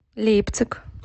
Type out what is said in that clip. лейпциг